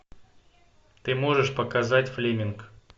ты можешь показать флеминг